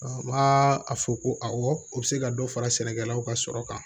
a fɔ ko awɔ u bɛ se ka dɔ fara sɛnɛkɛlaw ka sɔrɔ kan